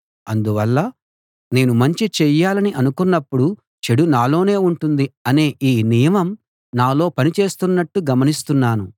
అందువల్ల నేను మంచి చెయ్యాలని అనుకొన్నప్పుడు చెడు నాలోనే ఉంటుంది అనే ఈ నియమం నాలో పని చేస్తున్నట్లు గమనిస్తున్నాను